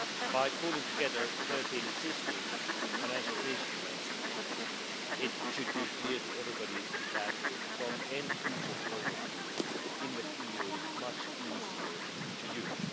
By pooling together 13 existing financial instruments, it should be clear to everybody that, from the end user's point of view, InvestEU is much easier to use.